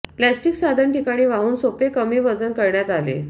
plastic साधन ठिकाणी वाहून सोपे कमी वजन करण्यात आले